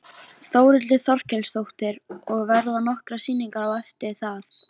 Þórhildur Þorkelsdóttir: Og verða nokkrar sýningar eftir það?